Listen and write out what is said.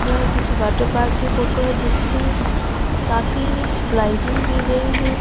यह किसी water park की फोटो है जिसमें काफी स्लाइडिंग दी गई है।